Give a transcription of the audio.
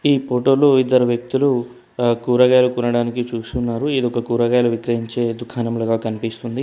ఈ ఫోటో లో ఇద్దరు వ్యక్తులు కూరగాయలు కొనడానికి చూస్తున్నారు ఇది ఒక కూరగాయలు విక్రయించే దుకాణం లాగా కనిపిస్తుంది.